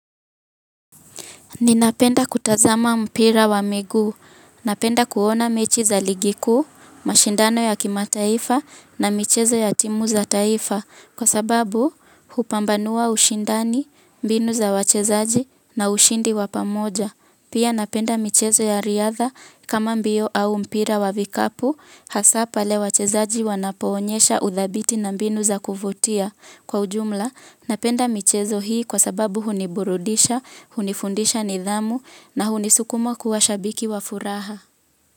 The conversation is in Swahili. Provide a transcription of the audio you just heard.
Ninapenda kutazama mpira wa miguu. Napenda kuona mechi za ligi kuu, mashindano ya kimataifa na michezo ya timu za taifa. Kwa sababu, hupambanua ushindani, mbinu za wachezaji na ushindi wa pamoja. Pia napenda michezo ya riadha kama mbio au mpira wa vikapu, hasa pale wachezaji wanapoonyesha udhabiti na mbinu za kuvutia. Kwa ujumla, napenda michezo hii kwa sababu huniburudisha, hunifundisha nidhamu na hunisukuma kuwa shabiki wa furaha.